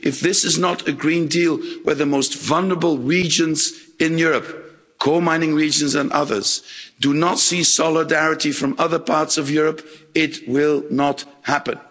If this is not a Green Deal where the most vulnerable regions in Europe coalmining regions and others do not see solidarity from other parts of Europe, it will not happen.